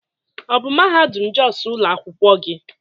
Ọ bụ mahadum Jos ụlọ akwụkwọ gị